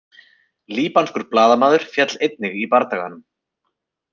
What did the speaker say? Líbanskur blaðamaður féll einnig í bardaganum